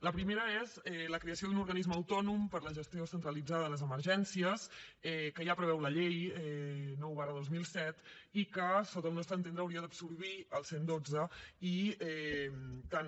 la primera és la creació d’un organisme autònom per a la gestió centralitzada de les emergències que ja preveu la llei nou dos mil set i que sota el nostre entendre hauria d’absorbir el cent i dotze i tant